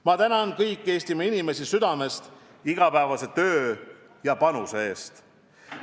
Ma tänan kõiki Eestimaa inimesi südamest nende igapäevase töö ja panuse eest.